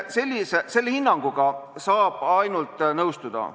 Sellise hinnanguga saab ainult nõustuda.